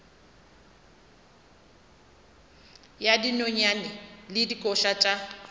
ya dinonyane le dikoša tša